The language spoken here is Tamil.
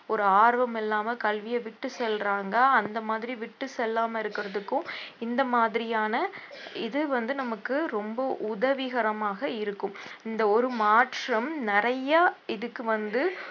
ஒரு ஆர்வம் இல்லாம கல்வியை விட்டு செல்றாங்க அந்த மாதிரி விட்டு செல்லாம இருக்கிறதுக்கும் இந்த மாதிரியான இது வந்து நமக்கு ரொம்ப உதவிகரமாக இருக்கும் இந்த ஒரு மாற்றம் நிறைய இதுக்கு வந்து